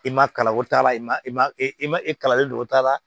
I ma kalan o t'a la i ma i ma e e ma e kalalen don o ta la